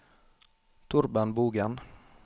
Torben Bogen